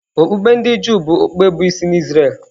Okpukpe ndị Juu bụ okpukpe bụ́ isi n’Izrel.